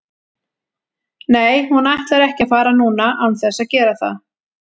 Nei hún ætlar ekki að fara núna án þess að gera það.